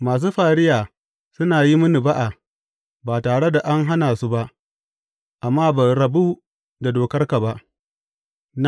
Masu fariya suna yi mini ba’a ba tare da an hana su ba, amma ban rabu da dokar ba.